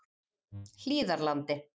Hlíðarlandi